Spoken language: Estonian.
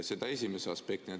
Seda esimese aspektina.